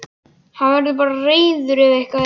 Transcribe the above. Hann verður bara reiður ef eitthvað er.